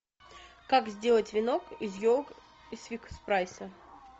как сделать венок из елок из фикс прайса